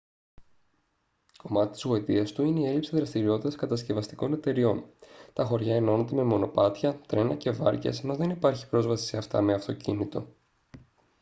κομμάτι της γοητείας του είναι η έλλειψη δραστηριότητας κατασκευαστικών εταιριών τα χωριά ενώνονται με μονοπάτια τρένα και βάρκες ενώ δεν υπάρχει πρόσβαση σε αυτά με αυτοκίνητο